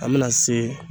An bɛna se